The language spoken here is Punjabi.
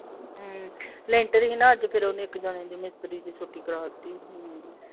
ਹਮ ਲੈਂਟਰ ਹੀ ਨਾ ਅੱਜ ਫਿਰ ਓਹਨੇ ਇਕ ਜਾਣੇ ਦੀ ਮਿਸਤਰੀ ਦੀ ਛੁੱਟੀ ਕਰਾਤੀ ਹਮ